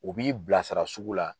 U b'i bila sara sugu la